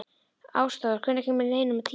Ásdór, hvenær kemur leið númer tíu?